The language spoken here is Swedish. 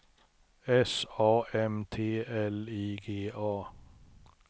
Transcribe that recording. S A M T L I G A